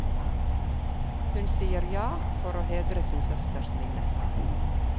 Hun sier ja, for å hedre sin søsters minne.